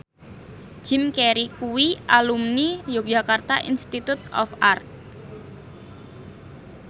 Jim Carey kuwi alumni Yogyakarta Institute of Art